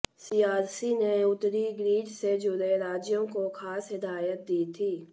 CERC ने उत्तरी grid से जुड़े राज्यों को खास हिदायत दी थी